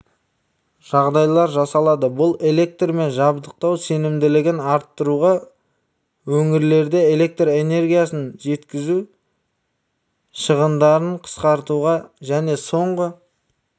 жағдайлар жасалады бұл электрмен жабдықтау сенімділігін арттыруға өңірлерде электр энергиясын жеткізу шығындарын қысқартуға және соңғы